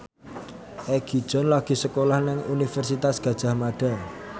Egi John lagi sekolah nang Universitas Gadjah Mada